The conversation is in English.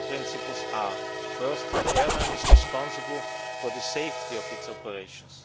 The guiding principles are as follows first, the airline is responsible for the safety of its operations.